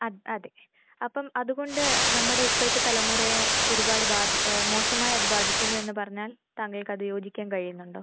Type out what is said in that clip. അത് അതെ. അപ്പം അത് കൊണ്ട് നമ്മടെ ഇപ്പൊഴത്തേ തലമുറയെ ഒരുപാട് ബാധിഏഹ് മോശമായി അത് ബാധിക്കുന്നു എന്ന് പറഞ്ഞാൽ താങ്കൾക്കത് യോജിക്കാൻ കഴിയുന്നുണ്ടോ?